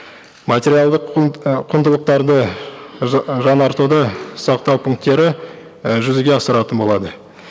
материалдық құндылықтарды жаңартуды сақтау пункттері і жүзеге асыратын болады